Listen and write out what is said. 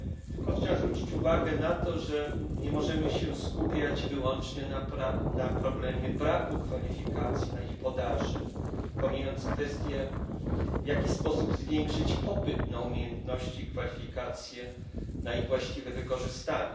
Tylko chciałem zwrócić uwagę na to, że nie możemy skupiać się wyłącznie na problemie braku kwalifikacji, na ich podaży, pomijając kwestie, w jaki sposób zwiększyć popyt na umiejętności, kwalifikacje, na ich właściwe wykorzystanie.